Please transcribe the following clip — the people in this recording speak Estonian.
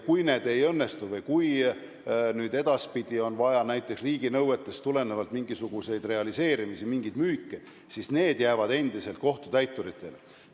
Kui see ei õnnestu või kui edaspidi on vaja näiteks riiginõuetest tulenevalt mingisugust realiseerimist, mingit müüki, siis need asjad jäävad endiselt kohtutäituritele.